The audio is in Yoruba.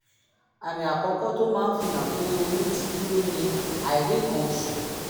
àmì àkọ́kọ́ tó máa ń fi hàn pé oyún ti dúró ni àìrí nǹkan oṣù